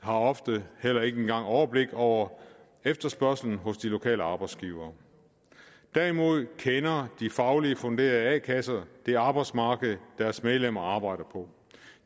har ofte heller ikke engang overblik over efterspørgslen hos de lokale arbejdsgivere derimod kender de fagligt funderede a kasser det arbejdsmarked deres medlemmer arbejder på